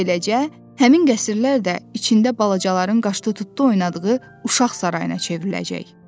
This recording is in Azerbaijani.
Beləcə, həmin qəsrlər də içində balacaların qaşdı tutdu oynadığı uşaq sarayına çevriləcək.